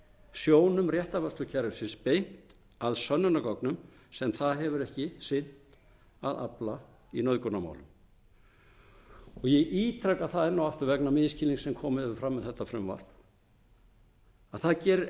sjónum réttarvörslukerfisins beint að sönnunargögnum sem það hefur ekki sinnt að afla í nauðgunarmálum ég ítreka það enn og aftur vegna misskilnings sem komið hefur fram um þetta frumvarp að það gerir